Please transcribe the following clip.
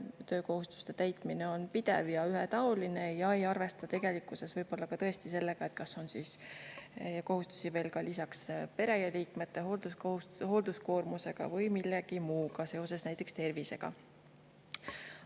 Töökohustuste täitmine on pidev ja ühetaoline ja ei arvesta tegelikkuses võib-olla tõesti sellega, kas on veel kohustusi pereliikmete hooldamise koormusega või millegi muuga seoses, näiteks tervisega.